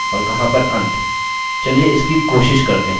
चलिए इसकी कोशिश करते हैं